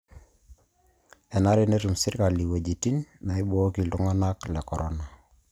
Enare netum sirkali iwuejitin naibooki iltung'anak le Corona